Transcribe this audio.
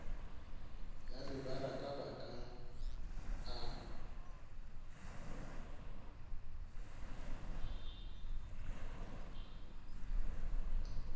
ya mebaraka ba ka a